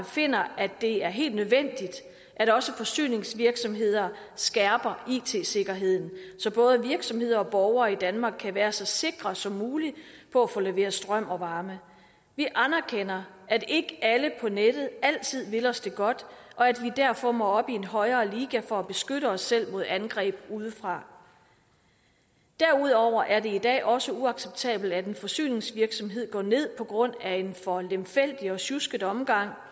finder at det er helt nødvendigt at også forsyningsvirksomheder skærper it sikkerheden så både virksomheder og borgere i danmark kan være så sikre som muligt på at få leveret strøm og varme vi anerkender at ikke alle på nettet altid vil os det godt og at vi derfor må op i en højere liga for at beskytte os selv mod angreb udefra derudover er det i dag også uacceptabelt at en forsyningsvirksomhed går ned på grund af en for lemfældig og sjusket omgang